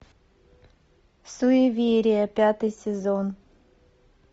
суеверие пятый сезон